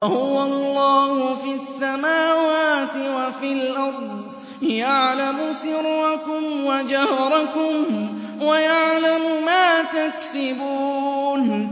وَهُوَ اللَّهُ فِي السَّمَاوَاتِ وَفِي الْأَرْضِ ۖ يَعْلَمُ سِرَّكُمْ وَجَهْرَكُمْ وَيَعْلَمُ مَا تَكْسِبُونَ